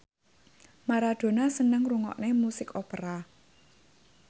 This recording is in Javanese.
Maradona seneng ngrungokne musik opera